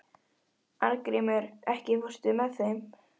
Arngrímur, ekki fórstu með þeim?